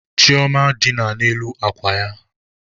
Chioma dina ala n'elu akwa ya.